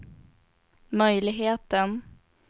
möjligheten